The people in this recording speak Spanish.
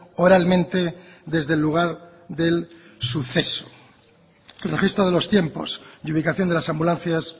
oralmente desde el lugar del suceso el registro de los tiempos y ubicación de las ambulancias